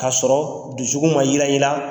K'a sɔrɔ dusukun ma yirayira